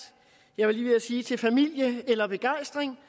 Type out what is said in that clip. jeg var lige ved at sige til familie eller begejstring